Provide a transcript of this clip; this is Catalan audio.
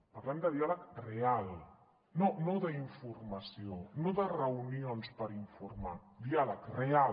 parlem de diàleg real no d’informació no de reunions per informar diàleg real